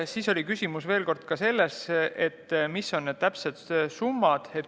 Siis oli küsimus veel kord selles, mis on täpsed summad.